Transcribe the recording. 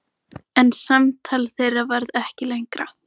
Hjálmveig, hvað er á áætluninni minni í dag?